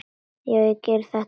Ég gerði þetta, já.